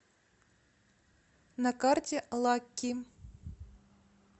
на карте лакки